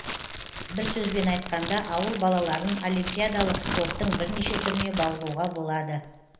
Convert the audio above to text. бір сөзбен айтқанда ауыл балаларын олимпиадалық спорттың бірнеше түріне баулуға болады